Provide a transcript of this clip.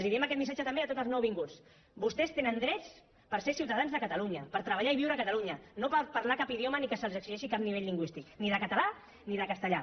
i els diem aquest missatge també a tots els nouvinguts vostès tenen drets per ser ciutadans de catalunya per treballar i viure a catalunya no per parlar cap idioma ni que se’ls exigeixi cap nivell lingüístic ni de català ni de castellà